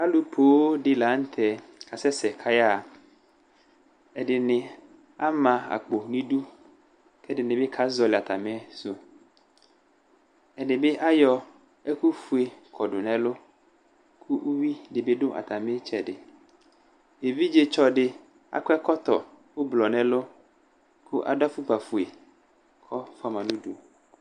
Alʋ poo dɩnɩ la nʋ tɛ Asɛ sɛ ayaɣa Ɛdɩnɩ ama akpo nʋ idu, kʋ ɛdɩnɩ bɩ ka zɔlɩ atamɩsʋ Ɛdɩ bɩ ayɔ ɛkʋ fue kɔdʋ nʋ ɛlʋ, kʋ uvi dɩbɩ dʋ atamɩ itsɛdɩ Evidzetsɔ dɩ akɔ ɛkɔtɔ ʋblɔ nʋ ɛlʋ, kʋ adʋ afʋkpa fue, kʋ ɔfua ma nʋ udu